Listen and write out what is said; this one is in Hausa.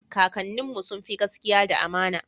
kakanin mu sunfi gaskia da amana